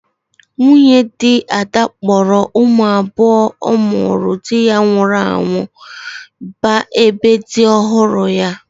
Nwunye di Ada kpọrọ ụmụ abuo ụmụrụ di ya nwụrụ anwụ ba ebe di ọhụrụ ya.